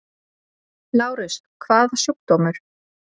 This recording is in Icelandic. LÁRUS: Hvaða sjúkdómur?